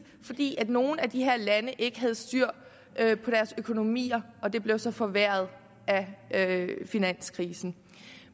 fordi nogle af de her lande ikke havde styr på deres økonomier og det blev så forværret af finanskrisen